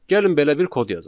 Gəlin belə bir kod yazaq.